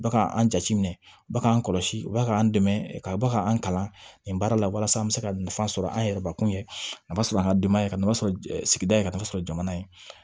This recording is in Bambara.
Ba ka an jate minɛ ba k'an kɔlɔsi u bɛ k'an dɛmɛ ka ba ka an kalan nin baara la walasa an bɛ se ka nafa sɔrɔ an yɛrɛbakun ye a b'a sɔrɔ an ka denbaya ye ka nafa sɔrɔ sigida in kan ka sɔrɔ jamana ye